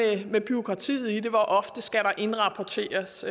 det med bureaukratiet i det hvor ofte skal der indrapporteres